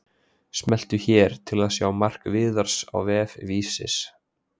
Smelltu hér til að sjá mark Viðars á vef Vísis